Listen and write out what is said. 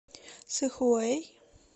сыхуэй